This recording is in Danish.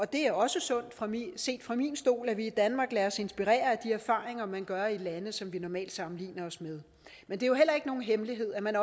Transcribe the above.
det er også sundt set fra min stol at vi i danmark lader os inspirere af de erfaringer man gør i lande som vi normalt sammenligner os med men det er jo heller ikke nogen hemmelighed at man